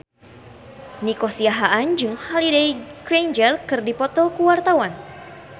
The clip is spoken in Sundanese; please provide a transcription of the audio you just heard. Nico Siahaan jeung Holliday Grainger keur dipoto ku wartawan